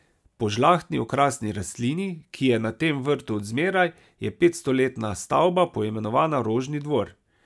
Po žlahtni okrasni rastlini, ki je na tem vrtu od zmeraj, je petstoletna stavba poimenovana Rožni dvor.